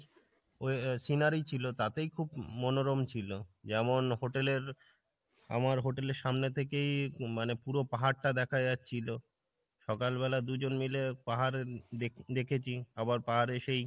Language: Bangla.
ওই ওই scenery ছিল তাতেই খুব মনোরম ছিল, যেমন hotel এর আমার hotel এর সামনে থেকেই মানে পুরো পাহাড়টা দেখা যাচ্ছিলো। সকাল বেলা দুজন মিলে পাহাড় দেখ~ দেখেছি আবার পাহাড়ে সেই